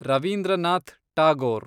Ravindranath Tagore